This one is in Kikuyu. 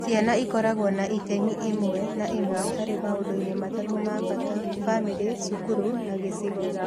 Ciana ikoragwo na itemi ĩmwe kwa ĩmwe harĩ maũndũ-inĩ matatũ ma bata: famĩlĩ, cukuru, na gĩcigo.